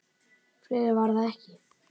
. fleira var það ekki.